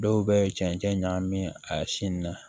Dɔw bɛ cɛncɛn ɲagami a sin na